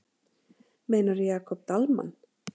Meinarðu Jakob Dalmann?